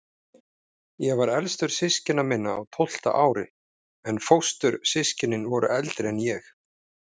Ég var elstur systkina minna, á tólfta ári, en fóstur- systkinin voru eldri en ég.